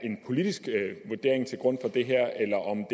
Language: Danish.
en politisk vurdering til grund for det her eller om